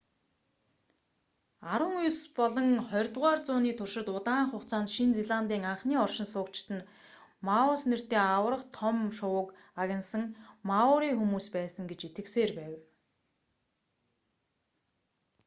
арван ес болон хорьдугаар зууны туршид удаан хугацаанд шинэ зеландын анхны оршин суугчид нь моас нэртэй аварга том шувууг агнасан маори хүмүүс байсан гэж итгэсээр байв